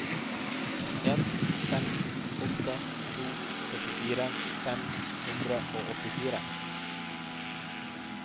en fem åtte to syttifire fem hundre og åttifire